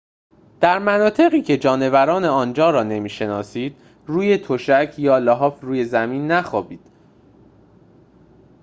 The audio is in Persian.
در مناطقی که جانوران آنجا را نمی‌شناسید روی تشک یا لحاف روی زمین نخوابید